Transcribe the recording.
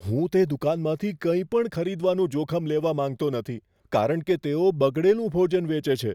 હું તે દુકાનમાંથી કંઈપણ ખરીદવાનું જોખમ લેવા માંગતો નથી કારણ કે તેઓ બગડેલું ભોજન વેચે છે.